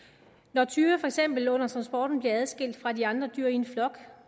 når tyre for eksempel under transporten bliver adskilt fra de andre dyr i en flok